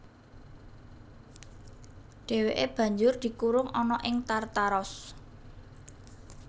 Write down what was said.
Dhèwèké banjur dikurung ana ing Tartaros